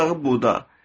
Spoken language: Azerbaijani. Bu budağı buda.